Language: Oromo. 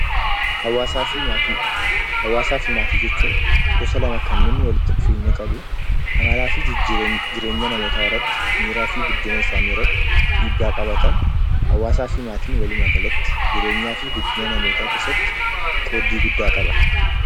Hawaasafi maatii; hawaasafi maatii jechuun, gosa lama kanneen walitti dhufeenya qabu amalaafi jireenya namoota irraatti, miiraafi guddina isaanii irraatti dhiibbaa qabatan, hawaasafi maatiin walummagalaatti jireenyaafi guddina namoota keessatti qooddii guddaa qaba.